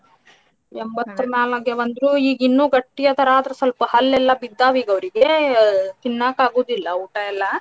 ಎಂಬತ್ತರ್ ಮ್ಯಾಲ್ ಆಗ್ಯಾವ ಅಂದ್ರು ಈಗ ಇನ್ನು ಗಟ್ಟಿ ಅದಾರ ಆದ್ರ ಸ್ವಲ್ಪ ಹಲ್ಲೆಲ್ಲಾ ಬಿದ್ದಾವ್ ಈಗ ಅವ್ರಿಗೆ ತಿನ್ನಾಕ ಅಗುದಿಲ್ಲಾ ಊಟಾ ಎಲ್ಲಾ.